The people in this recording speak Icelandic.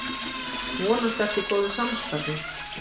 Vonast eftir góðu samstarfi